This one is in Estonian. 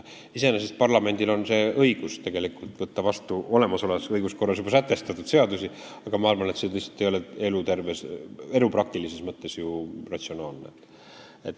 Iseenesest on parlamendil õigus võtta vastu olemasolevas õiguskorras juba sätestatud seadusi, aga ma arvan, et see lihtsalt ei ole praktilises mõttes ratsionaalne.